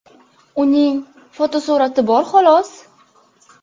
Uning fotosurati bor xolos.